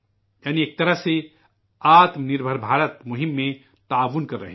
یعنی ایک طرح سے خود انحصار ہندوستان مہم میں مدد کر رہے ہیں